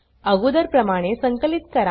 अगोदरप्रमाणे संकलित करा